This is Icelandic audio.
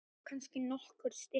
Nema kannski nokkur stykki.